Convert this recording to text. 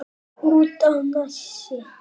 Út á Nesi?